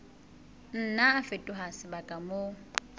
nna a fetoha sebaka moo